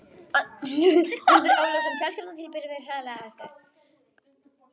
Andri Ólafsson: Fjölskylda þín býr við hræðilegar aðstæður?